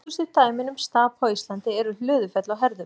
Þekktustu dæmin um stapa á Íslandi eru Hlöðufell og Herðubreið.